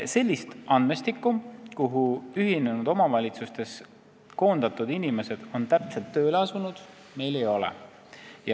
Sellist andmestikku, kuhu ühinenud omavalitsustest koondatud inimesed on täpselt tööle asunud, meil ei ole.